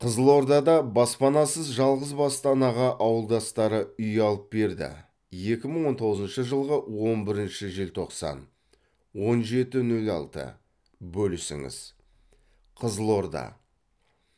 қызылордада баспанасыз жалғызбасты анаға ауылдастары үй алып берді екі мың он тоғызыншы жылғы он бірінші желтоқсан он жеті нөл алты бөлісіңіз қызылорда